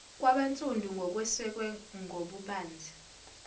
kwabansundu ngokwesekwe ngobubanzi